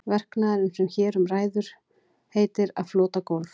Verknaðurinn sem hér um ræður heitir að flota gólf.